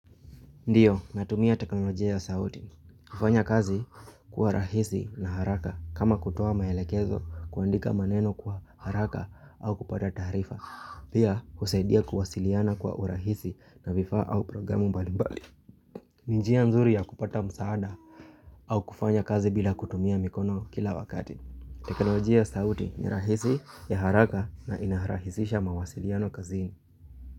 Ndiyo, natumia teknolojia ya sauti. Kufanya kazi kuwa rahisi na haraka. Kama kutoa maelekezo, kuandika maneno kwa haraka au kupata taarifa. Pia husaidia kuwasiliana kwa urahisi na vifaa au programu mbali mbali. Njia nzuri ya kupata msaada au kufanya kazi bila kutumia mikono kila wakati. Teknolojia ya sauti ni rahisi ya haraka na inarahisisha mawasiliano kazini.